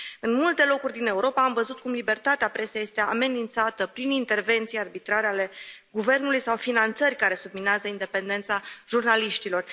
În multe locuri din Europa am văzut cum libertatea presei este amenințată prin intervenții arbitrare ale guvernului sau finanțări care subminează independența jurnaliștilor.